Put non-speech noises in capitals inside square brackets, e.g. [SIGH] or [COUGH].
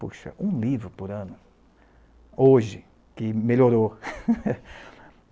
Puxa, um livro por ano, hoje, que melhorou. [LAUGHS]